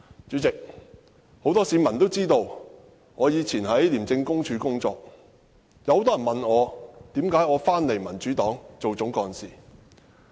主席，很多市民都知道，我曾經在廉政公署工作，很多人問我，為何返回民主黨擔任總幹事。